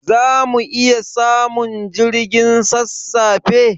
Zamu iya samun jirgin sassafe?